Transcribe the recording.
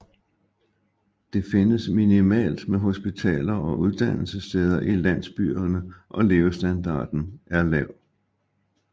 Det findes minimalt med hospitaler og uddannelsessteder i landsbyerne og levestandarden er lav